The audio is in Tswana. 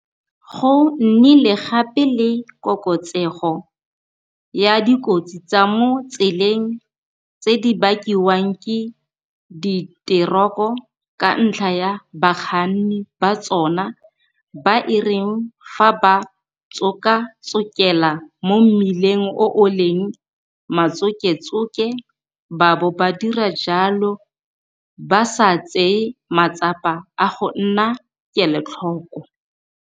Go nnile gape le koketsego ya dikotsi tsa mo tseleng tse di bakiwang ke diteroko ka ntlha ya bakganni ba tsona ba e reng fa ba tsokatsokela mo mmileng o o leng matsoketsoke ba bo ba dira jalo ba sa tseye matsapa a go nna kelotlhoko.